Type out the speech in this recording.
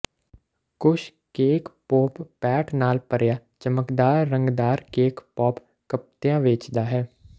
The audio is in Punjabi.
ਕੁਸ਼ ਕੇਕ ਪੋਪ ਪੈਟ ਨਾਲ ਭਰਿਆ ਚਮਕਦਾਰ ਰੰਗਦਾਰ ਕੇਕ ਪੌਪ ਕਪਤੀਆਂ ਵੇਚਦਾ ਹੈ